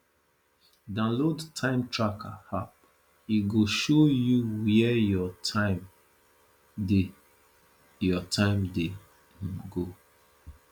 download time tracking app e go show you where your time dey your time dey um go